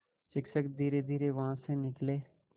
शिक्षक धीरेधीरे वहाँ से निकले